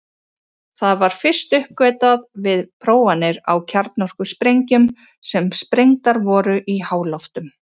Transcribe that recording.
Það var fyrst uppgötvað við prófanir á kjarnorkusprengjum sem sprengdar voru í háloftum.